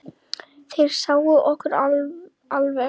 Þeir sáu okkur alveg!